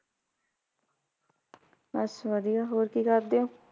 ਬੱਸ ਵਧੀਆ ਹੋਰ ਕੀ ਕਰਦੇ ਓ?